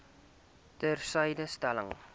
ter syde stel